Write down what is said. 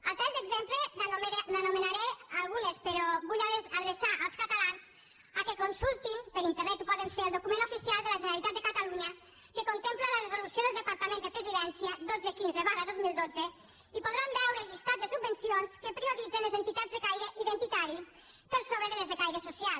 a tall d’exemple n’anomenaré algunes però vull adreçar els catalans que consultin per internet ho poden fer el document oficial de la generalitat de catalunya que contempla la resolució del departament de presidència dotze quinze dos mil dotze i podran veure el llistat de subvencions que prioritza les entitats de caire identitari per sobre de les de caire social